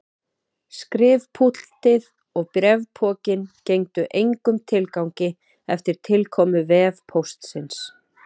Skrifpúltið og bréfpokinn gengdu engum tilgangi eftir tilkomu vefpóstsins.